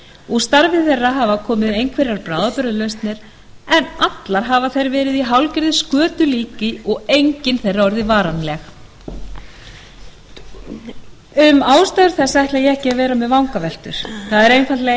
úr starfi þeirra hafa komið einhverjar bráðabirgðalausnir en allar hafa þær verið í hálfgerðu skötulíki og engin þeirra orðið varanleg um ástæður þessa ætla ég ekki að vera með vangaveltur það er einfaldlega